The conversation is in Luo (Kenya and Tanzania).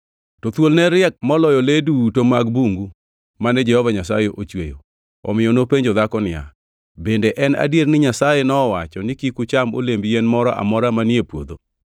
To thuol ne riek moloyo le duto mag bungu mane Jehova Nyasaye ochweyo. Omiyo nopenjo dhako niya, “Bende en adier ni Nyasaye nowacho ni, ‘Kik ucham olemb yien moro amora manie puodho?’ ”